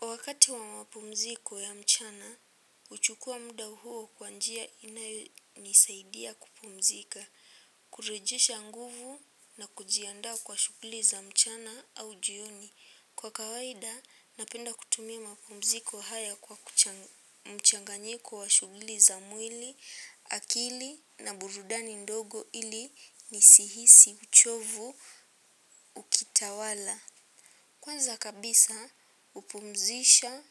Wakati wa mapumziko ya mchana huchukua muda huo kwa njia inayonisaidia kupumzika kurejesha nguvu na kuji andaa kwa shughuli za mchana au jioni kwa kawaida napenda kutumia mapumziko haya kwa mchanganyiko wa shughuli za mwili akili na burudani ndogo ili nisihisi uchovu ukitawala. Kwanza kabisa hupumzisha